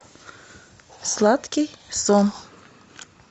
сладкий сон